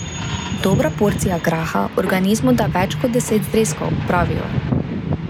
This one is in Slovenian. Dobra porcija graha organizmu da več kot deset zrezkov, pravijo.